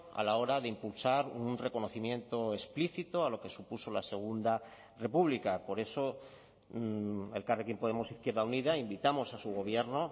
a la hora de impulsar un reconocimiento explícito a lo que supuso la segunda república por eso elkarrekin podemos izquierda unida invitamos a su gobierno